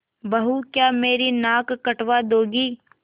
बहू क्या मेरी नाक कटवा दोगी